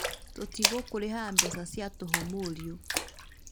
Tũtigũkũrĩhaga mbeca cia tũhũ mũriũ